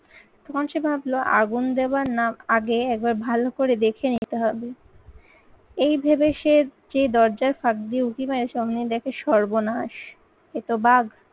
তখন সে ভাবলো আগুন দেবার নাক আগে একবার ভালো করে দেখে নিতে হবে। এই ভেবে সে যে দরজার ফাঁক দিয়ে উঁকি মারে অমনি দেখে সর্বনাশ এ তো বাঘ।